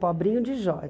Pobrinho de joia.